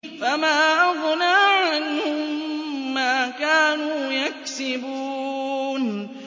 فَمَا أَغْنَىٰ عَنْهُم مَّا كَانُوا يَكْسِبُونَ